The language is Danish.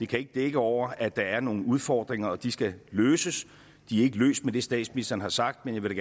kan ikke dække over at der er nogle udfordringer og at de skal løses de er ikke løst med det statsministeren har sagt men jeg vil